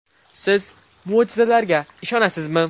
Siz mo‘jizalarga ishonasizmi?